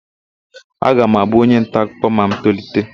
Aga m abụ onyentaakụkọ ma m tolite.